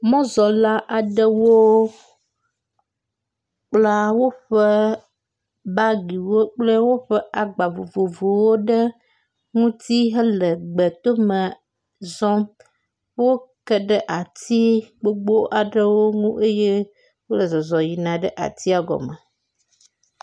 Mɔzɔla aɖewo wo wo la wokpla bagiwo kple woƒe agba vovovowo ɖe ŋuti hele gbetome zɔm. Woke ɖe ati gbogbo aɖewo nu eye wole zɔzɔm yina atia gɔme.